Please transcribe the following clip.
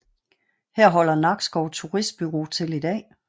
Her holder Nakskov Turistbureau til i dag